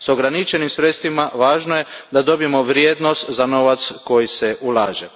S ograničenim sredstvima važno je da dobijemo vrijednost za novac koji se ulaže.